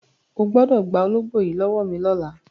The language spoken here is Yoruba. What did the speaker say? O gbọ́dọ̀ gba ológbò yìí lọ́wọ́ mi lọ́la!